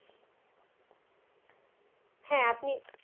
হ্যাঁ আপনি